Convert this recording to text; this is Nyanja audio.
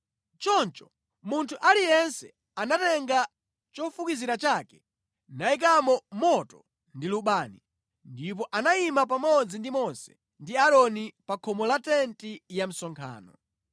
Choncho munthu aliyense anatenga chofukizira chake nayikamo moto ndi lubani, ndipo anayima pamodzi ndi Mose ndi Aaroni pa khomo la tenti ya msonkhano.